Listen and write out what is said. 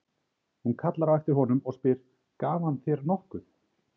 Hún kallar á eftir honum og spyr: Gaf hann þér nokkuð?